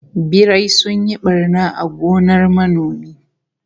Birai sun yi barna a gonar manomi